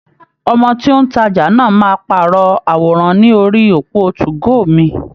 Ọmọ tí ó ń tajà náà máa pàrọ̀ àwòrán ní orí òpó 2go mi.